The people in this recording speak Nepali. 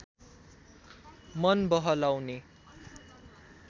मन बहलाउने